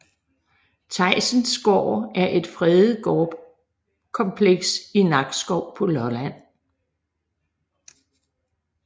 Theisens Gård er et fredet gårdkompleks i Nakskov på Lolland